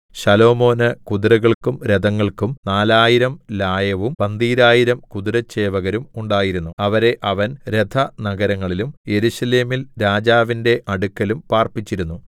ശലോമോന് കുതിരകൾക്കും രഥങ്ങൾക്കും നാലായിരം ലായവും പന്തീരായിരം കുതിരച്ചേവകരും ഉണ്ടായിരുന്നു അവരെ അവൻ രഥനഗരങ്ങളിലും യെരൂശലേമിൽ രാജാവിന്റെ അടുക്കലും പാർപ്പിച്ചിരുന്നു